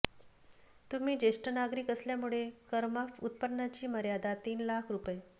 तुम्ही ज्येष्ठ नागरिक असल्यामुळे करमाफ उत्पन्नाची मर्यादा तीन लाख रु